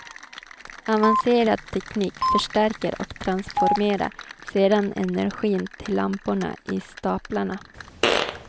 Avancerad teknik förstärker och transformerar sedan energin till lamporna i staplarna.